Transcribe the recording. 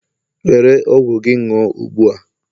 were ọgwụ gị ṅụṅ ugbu a!